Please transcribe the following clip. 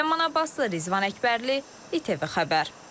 Ləman Abbaslı, Rizvan Əkbərli, İTV xəbər.